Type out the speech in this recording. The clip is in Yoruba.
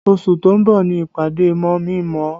Oṣù tó ń bọ̀ ni ìpàdé mọ̀mí-n-mọ̀-ọ́